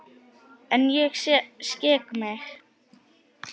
En ég skek mig.